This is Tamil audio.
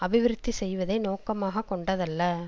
அபிவிருத்தி செய்வதை நோக்கமாக கொண்டதல்ல